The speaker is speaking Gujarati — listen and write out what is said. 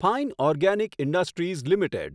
fine organic industries limited